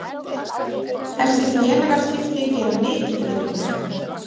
Þessi félagaskipti gera mikið fyrir mig.